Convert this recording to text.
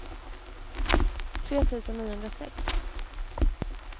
tre tusen niohundrasex